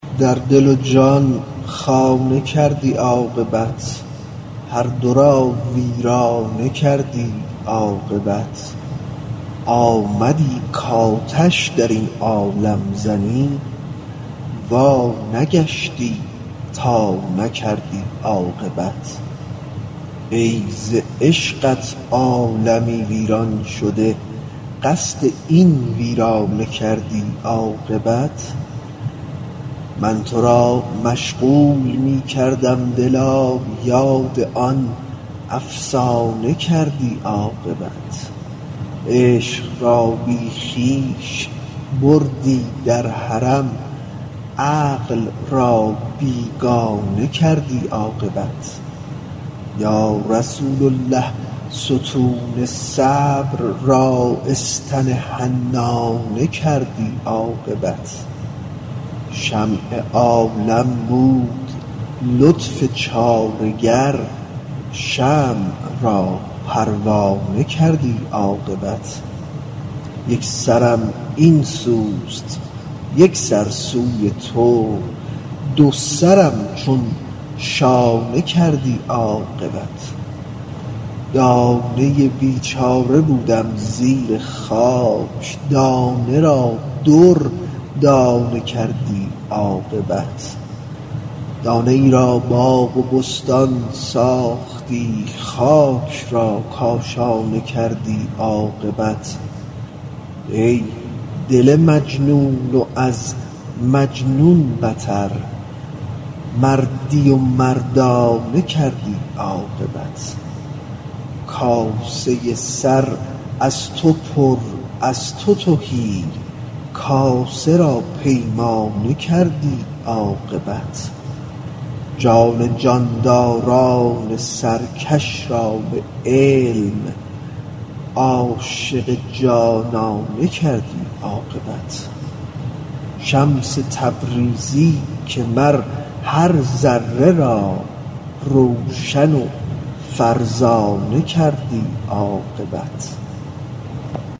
در دل و جان خانه کردی عاقبت هر دو را دیوانه کردی عاقبت آمدی کآتش در این عالم زنی وانگشتی تا نکردی عاقبت ای ز عشقت عالمی ویران شده قصد این ویرانه کردی عاقبت من تو را مشغول می کردم دلا یاد آن افسانه کردی عاقبت عشق را بی خویش بردی در حرم عقل را بیگانه کردی عاقبت یا رسول الله ستون صبر را استن حنانه کردی عاقبت شمع عالم بود لطف چاره گر شمع را پروانه کردی عاقبت یک سرم این سوست یک سر سوی تو دو سرم چون شانه کردی عاقبت دانه ای بیچاره بودم زیر خاک دانه را دردانه کردی عاقبت دانه ای را باغ و بستان ساختی خاک را کاشانه کردی عاقبت ای دل مجنون و از مجنون بتر مردی و مردانه کردی عاقبت کاسه سر از تو پر از تو تهی کاسه را پیمانه کردی عاقبت جان جانداران سرکش را به علم عاشق جانانه کردی عاقبت شمس تبریزی که مر هر ذره را روشن و فرزانه کردی عاقبت